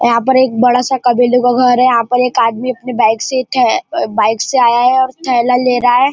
यहां पर एक बड़ा सा कबीले का घर है यहां पर एक आदमी अपनी बाइक से थे ऐ बाइक से आया है और थैला ले रहा है।